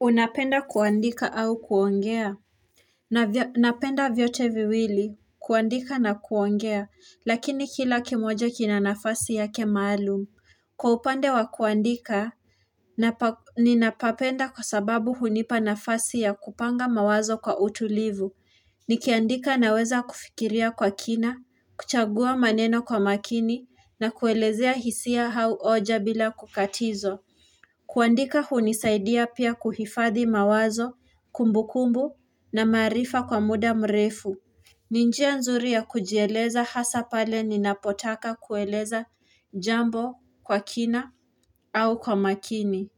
Unapenda kuandika au kuongea Napenda vyote viwili kuandika na kuongea lakini kila kimoja kina nafasi yake maalum Kwa upande wa kuandika Ninapapenda kwa sababu hunipa nafasi ya kupanga mawazo kwa utulivu Nikiandika naweza kufikiria kwa kina kuchagua maneno kwa makini na kuelezea hisia hau oja bila kukatizwa kuandika hunisaidia pia kuhifadhi mawazo, kumbukumbu na maarifa kwa muda mrefu. Ni njia nzuri ya kujeleza hasa pale ninapotaka kueleza jambo kwa kina au kwa makini.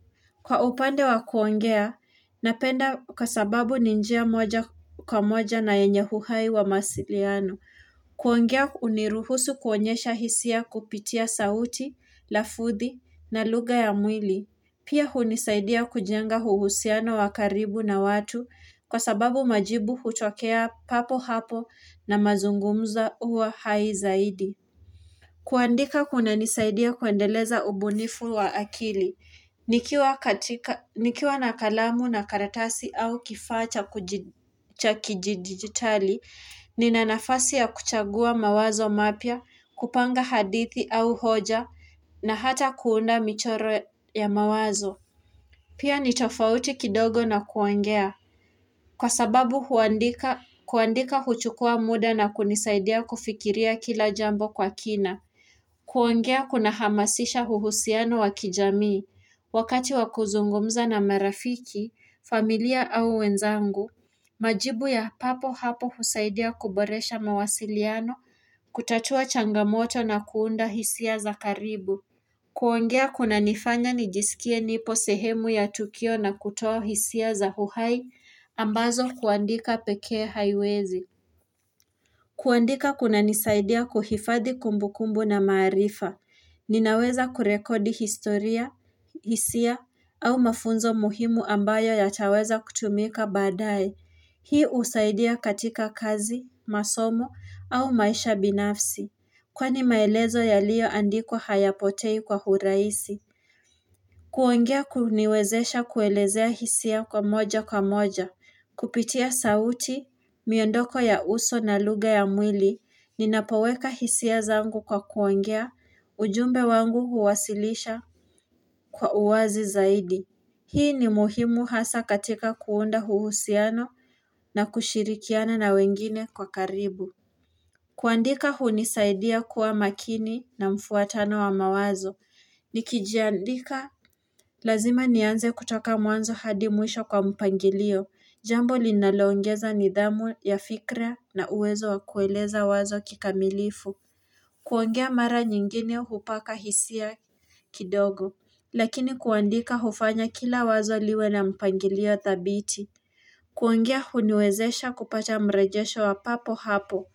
Kwa upande wa kuongea, napenda kwa sababu ni njia moja kwa moja na yenye uhai wa masiliano. Kuongea uniruhusu kuonyesha hisia kupitia sauti, lafudhi na lugha ya mwili. Pia hunisaidia kujenga huhusiano wa karibu na watu kwa sababu majibu hutokea papo hapo na mazungumza huwa hai zaidi. Kuandika kuna nisaidia kuendeleza ubunifu wa akili. Nikiwa na kalamu na karatasi au kifaa cha kijidigitali, nina nafasi ya kuchagua mawazo mapya, kupanga hadithi au hoja na hata kuunda michoro ya mawazo. Pia ni tofauti kidogo na kuongea. Kwa sababu kuandika huchukua muda na kunisaidia kufikiria kila jambo kwa kina. Kuongea kuna hamasisha uhusiano wa kijamii. Wakati wakuzungumza na marafiki, familia au wenzangu, majibu ya papo hapo husaidia kuboresha mawasiliano, kutatua changamoto na kuunda hisia za karibu. Kuongea kuna nifanya nijisikie nipo sehemu ya tukio na kutoa hisia za huhai ambazo kuandika pekee haiwezi. Kuandika kuna nisaidia kuhifadhi kumbu kumbu na maarifa. Ninaweza kurekodi historia, hisia, au mafunzo muhimu ambayo yataweza kutumika baadae. Hii usaidia katika kazi, masomo, au maisha binafsi. Kwani maelezo yaliyo andikwa hayapotei kwa urahisi. Kuongea kuniwezesha kuelezea hisia kwa moja kwa moja. Kupitia sauti, miondoko ya uso na lugha ya mwili. Ninapoweka hisia zangu kwa kuongea. Ujumbe wangu huwasilisha kwa uwazi zaidi. Hii ni muhimu hasa katika kuunda huhusiano na kushirikiana na wengine kwa karibu. Kuandika hunisaidia kuwa makini na mfuatano wa mawazo. Nikijandika lazima nianze kutoka mwanzo hadi mwisho kwa mpangilio. Jambo linaloongeza nidhamu ya fikra na uwezo wa kueleza wazo kikamilifu. Kuongea mara nyingine hupaka hisia kidogo Lakini kuandika hufanya kila wazo liwe na mpangilio thabiti Kuengea huniwezesha kupata mrejesho wa papo hapo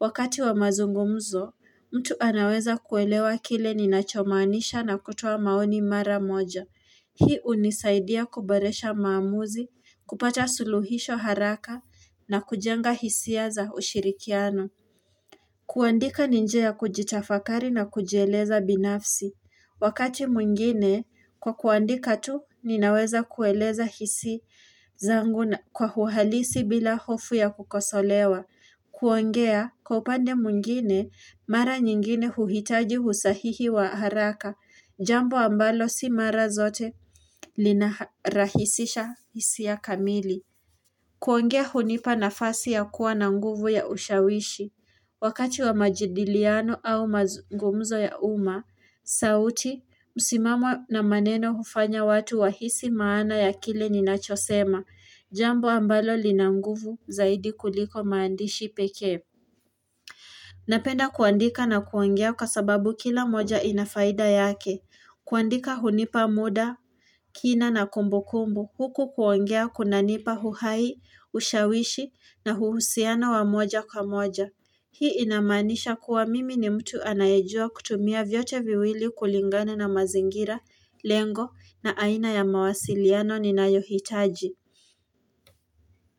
Wakati wa mazungumzo mtu anaweza kuelewa kile ninachomanisha na kutoa maoni mara moja Hii unisaidia kuboresha maamuzi kupata suluhisho haraka na kujenga hisia za ushirikiano kuandika ni njia ya kujitafakari na kujieleza binafsi. Wakati mwingine, kwa kuandika tu, ninaweza kueleza hisi zangu kwa huhalisi bila hofu ya kukosolewa. Kuongea, kwa upande mwingine, mara nyingine huhitaji husahihi wa haraka. Jambo ambalo si mara zote lina rahisisha hisia kamili. Kuongea hunipa nafasi yakuwa na nguvu ya ushawishi. Wakati wa majidiliano au mazungumzo ya uma, sauti, musimamo na maneno hufanya watu wahisi maana ya kile ninachosema, jambo ambalo lina nguvu zaidi kuliko maandishi peke. Napenda kuandika na kuongea kwa sababu kila moja inafaida yake. Kuandika hunipa muda, kina na kumbu kumbu. Huku kuongea kuna nipa huhai, ushawishi na huhusiano wa moja kwa moja. Hii inamanisha kuwa mimi ni mtu anayejua kutumia vyote viwili kulingana na mazingira, lengo na aina ya mawasiliano ni nayohitaji.